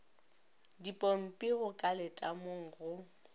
dipompi go ka letamong go